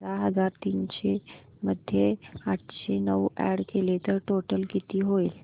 बारा हजार तीनशे मध्ये आठशे नऊ अॅड केले तर टोटल किती होईल